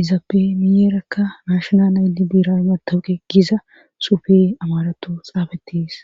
izappemiyeerekka maashonal aydi biira matawuqe giza sufe amaratu xaafatiis